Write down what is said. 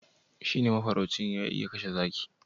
shi ne mafarauci ya iya kashe zaki